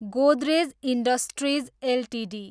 Godrej industries Ltd